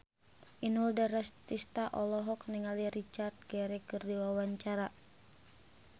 Inul Daratista olohok ningali Richard Gere keur diwawancara